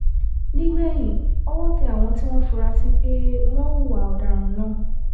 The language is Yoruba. nígbẹ̀yìn ọwọ́ tẹ àwọn tí wọ́n fura sí pé wọ́n hùwà ọ̀daràn náà